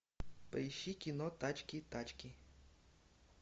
поищи кино тачки тачки